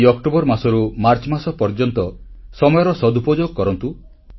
ଏହି ଅକ୍ଟୋବର ମାସରୁ ମାର୍ଚ୍ଚମାସ ପର୍ଯ୍ୟନ୍ତ ସମୟର ସଦୁପଯୋଗ କରନ୍ତୁ